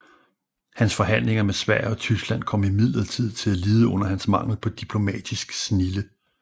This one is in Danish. Hans forhandlinger med Sverige og Tyskland kom imidlertid til at lide under hans mangel på diplomatisk snilde